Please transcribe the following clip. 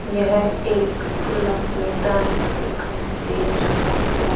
यह एक खुल्ला मेदान दिखाई दे रहा है।